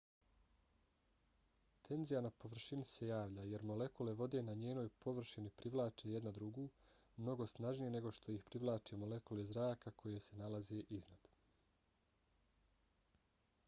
tenzija na površini se javlja jer molekule vode na njenoj površini privlače jedna drugu mnogo snažnije nego što ih privlače molekule zraka koje se nalaze iznad